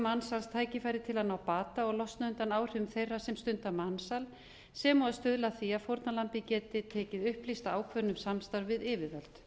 mansals tækifæri til að ná bata og losna undan áhrifum þeirra sem stunda mansal sem og að stuðla að því að fórnarlambið geti tekið upplýsta ákvörðun um samstarf við yfirvöld